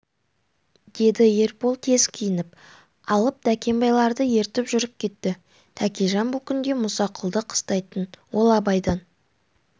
деді ербол тез киініп алып дәркембайларды ертіп жүріп кетті тәкежан бұл күнде мұсақұлды қыстайтын ол абайдан